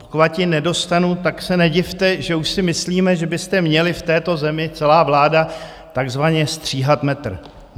Pokud ji nedostanu, tak se nedivte, že už si myslíme, že byste měli v této zemi - celá vláda - takzvaně stříhat metr.